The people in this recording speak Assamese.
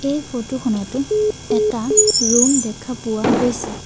এই ফটো খনটো এটা ৰুম দেখা পোৱা গৈছে।